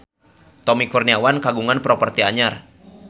Tommy Kurniawan kagungan properti anyar